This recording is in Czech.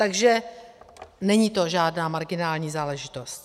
Takže není to žádná marginální záležitost.